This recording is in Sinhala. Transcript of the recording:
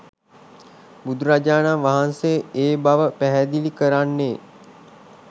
බුදුරජාණන් වහන්සේ ඒ බව පැහැදිලි කරන්නේ